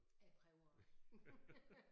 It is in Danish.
Jeg prøver også